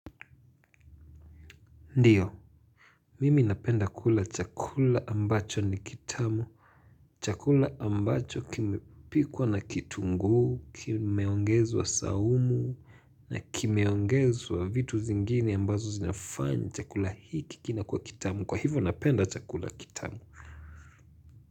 Ndio, mimi napenda kula chakula ambacho ni kitamu, chakula ambacho kimepikwa na kitunguu, kimeongezwa saumu na kimeongezwa vitu zingine ambazo zinafanya chakula hiki kina kuwa kitamu, kwa hivyo napenda chakula kitamu.